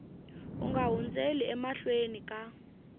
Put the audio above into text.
u nga hundzeli emahlweni ka